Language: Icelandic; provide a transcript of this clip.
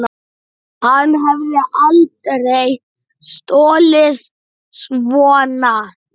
Hann hefði aldrei stolið svona.